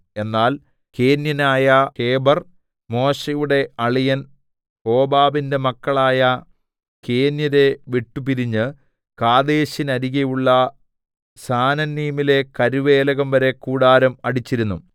എന്നാൽ കേന്യനായ ഹേബെർ മോശെയുടെ അളിയൻ ഹോബാബിന്റെ മക്കളായ കേന്യരെ വിട്ടുപിരിഞ്ഞ് കാദേശിന്നരികെയുള്ള സാനന്നീമിലെ കരുവേലകംവരെ കൂടാരം അടിച്ചിരുന്നു